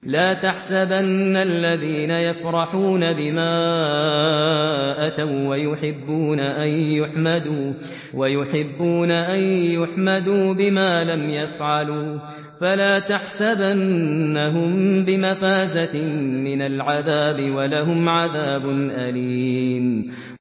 لَا تَحْسَبَنَّ الَّذِينَ يَفْرَحُونَ بِمَا أَتَوا وَّيُحِبُّونَ أَن يُحْمَدُوا بِمَا لَمْ يَفْعَلُوا فَلَا تَحْسَبَنَّهُم بِمَفَازَةٍ مِّنَ الْعَذَابِ ۖ وَلَهُمْ عَذَابٌ أَلِيمٌ